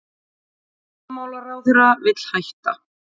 Varnarmálaráðherra vill hætta